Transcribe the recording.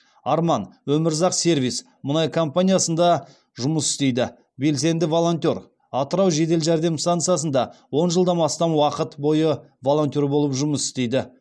арман өмірзақ сервис мұнай компаниясында жұмыс істейді белсенді волонтер атырау жедел жәрдем стансасында он жылдан астам уақыт бойы волонтер болып жұмыс істейді